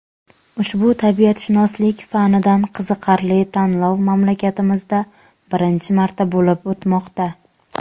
Ushbu tabiatshunoslik fanidan qiziqarli tanlov mamlakatimizda birinchi marta bo‘lib o‘tmoqda..